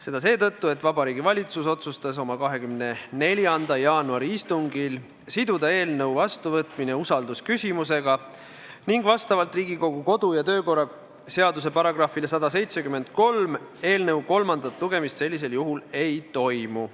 Seda seetõttu, et Vabariigi Valitsus otsustas oma 24. jaanuari istungil siduda eelnõu vastuvõtmine usaldusküsimusega ning vastavalt Riigikogu kodu- ja töökorra seaduse §-le 173 eelnõu kolmandat lugemist sellisel juhul ei toimu.